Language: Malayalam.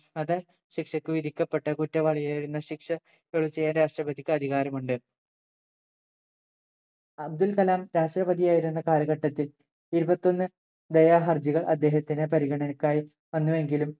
വധ ശിക്ഷക്ക് വിധിക്കപ്പെട്ട കുറ്റവാളിവരുന്ന ശിക്ഷ ഇളവ് ചെയ്യാൻ രാഷ്ട്രപതിക്ക് അധികാരമുണ്ട് അബ്ദുൾകലാം രാഷ്ട്രപതിയായിരുന്ന കാലഘട്ടത്തിൽ ഇരുപത്തൊന്ന് ദയാഹർജികൾ അദ്ദേഹത്തിന്റെ പരിഗണക്കായി വന്നു വെങ്കിലും